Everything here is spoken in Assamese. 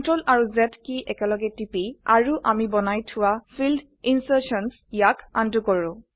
CTRL Z কী একেলগে টিপি আৰু আমি বনাই থোৱা ফিল্ড ইনচাৰশ্যনছ ক আনডু কৰো